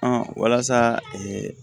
walasa